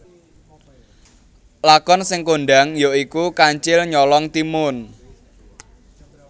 Lakon sing kondhang ya iku Kancil Nyolong Timun